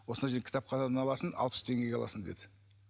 осындай жерден кітапханадан аласың алпыс теңгеге аласың деді